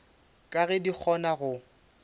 ka ge di kgona go